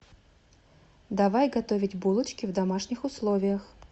давай готовить булочки в домашних условиях